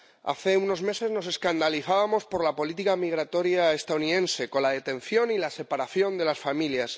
Hace unos meses nos escandalizamos por la política migratoria estadounidense, con la detención y la separación de las familias.